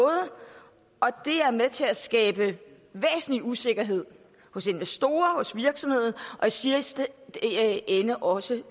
og det er med til at skabe væsentlig usikkerhed hos investorer hos virksomheder og i sidste ende også